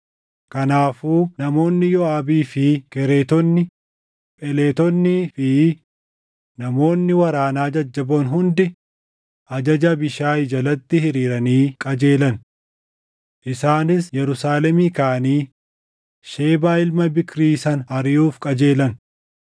Kanaafuu namoonni Yooʼaabii fi Kereetonni, Pheletonnii fi namoonni waraanaa jajjaboon hundi ajaja Abiishaayi jalatti hiriiranii qajeelan. Isaanis Yerusaalemii kaʼanii Shebaa ilma Biikrii sana ariʼuuf qajeelan.